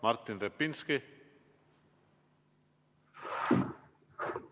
Martin Repinski!